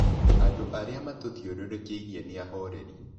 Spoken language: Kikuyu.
Andũ arĩa matũthiũrũrũkĩirie nĩ ahoreri.